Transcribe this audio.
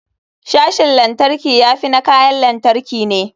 Sashin lantarki ya fi na kayan lantarki ne.